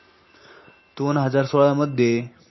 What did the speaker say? दोनहजार सोळामध्ये